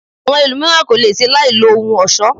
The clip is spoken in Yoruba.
Àwọn ẹlòmíràn ko le ṣe láì lo ohun ọ̀ṣọ.